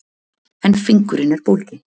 En fingurinn er bólginn.